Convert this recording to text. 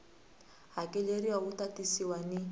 hakeleriwa wu ta tisiwa ni